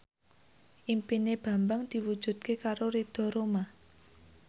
impine Bambang diwujudke karo Ridho Roma